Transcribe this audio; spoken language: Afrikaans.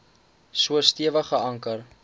so stewig geanker